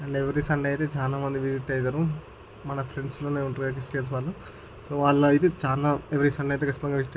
And every Sunday ఐతే చాల మంది విసిట్ ఐతారు. మన ఫ్రెండ్స్ లోనే ఉంటారు క్రిస్టియన్స్ వాళ్ళు. సో వాళ్ళు ఐతే చానా ఎవరీ సండే ఐతే--